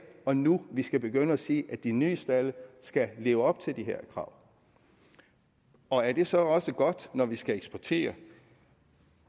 og nu vi skal begynde at sige at de nye stalde skal leve op til de her krav og er det så også godt når vi skal eksportere